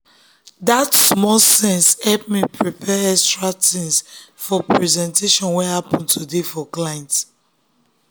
that small sense help me prepare extra things for presentation wey happen today for client.